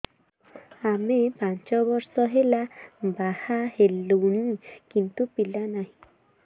ଆମେ ପାଞ୍ଚ ବର୍ଷ ହେଲା ବାହା ହେଲୁଣି କିନ୍ତୁ ପିଲା ନାହିଁ